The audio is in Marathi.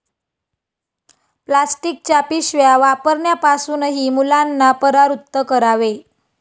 प्लास्टिकच्या पिशव्या वापरण्यापासूनही मुलांना परावृत्त करावे.